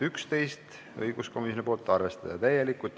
Üheteistkümnes on õiguskomisjonilt, arvestada täielikult.